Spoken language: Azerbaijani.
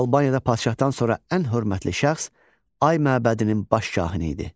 Albaniyada padşahdan sonra ən hörmətli şəxs ay məbədinin baş kahini idi.